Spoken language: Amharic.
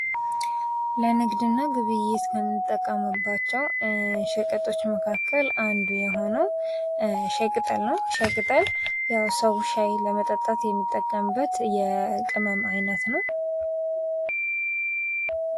ለንግድ እና ግብይት ከምንጠቀምባቸው ሸቀጦች መካከል አንዱ የሆነው ሻይ ቅጠል ነው። ሻይ ቅጠል ያው ሰው ሻይ ለመጠጣት የሚጠቀምበት የቅመም ዓይነት ነው።